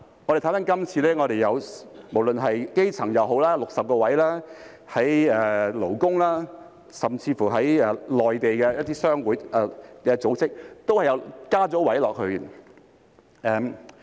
我們看回今次的修訂，基層界別有60個席位，而勞工甚至一些內地商會組織都有增加席位。